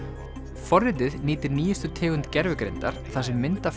forritið nýtir nýjustu tegund gervigreindar þar sem mynd af